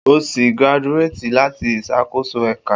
O si graduated lati isakoso Eka